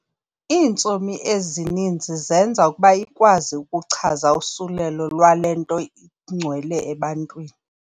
Iintsomi ezininzi zenza ukuba ikwazi ukuchaza usulelo lwale nto ingcwele ebantwini.